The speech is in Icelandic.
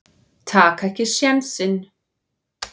Taka ekki sénsinn.